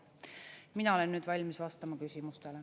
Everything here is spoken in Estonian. Mina olen nüüd valmis vastama küsimustele.